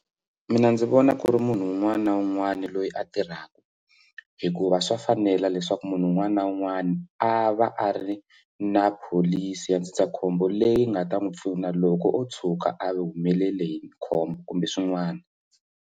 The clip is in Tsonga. Mina ndzi vona ku ri munhu un'wana na un'wana loyi a tirhaka hikuva swa fanela leswaku munhu un'wana na un'wana a va a ri na pholisi ya ndzindzakhombo leyi nga ta n'wi pfuna loko o tshuka a humelele hi khombo kumbe swin'wana.